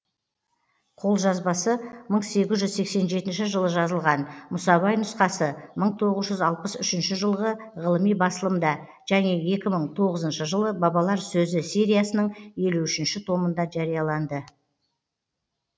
қолжазбасы мың сегіз жүз сексен жетінші жылы жазылған мұсабай нұсқасы мың тоғыз жүз алпыс үшінші жылғы ғылыми басылымда және екі мың тоғызыншы жылы бабалар сөзі сериясының елу үшінші томында жарияланды